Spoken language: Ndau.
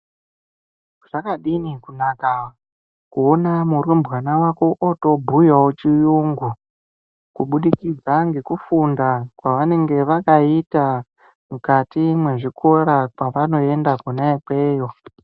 Zvadini kunaka kuona murumbana vako otobhuyavo chiyungu. Kubudikidza ngekufunda kwavanenge vakaita mukati mwezvikora pavanoenda kona ikweyo.